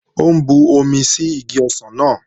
Ó ń bumi sí igi ọsàn náà